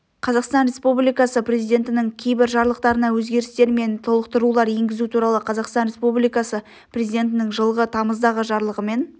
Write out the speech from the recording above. қазақстан республикасы президентінің кейбір жарлықтарына өзгерістер мен толықтырулар енгізу туралы қазақстан республикасы президентінің жылғы тамыздағы жарлығымен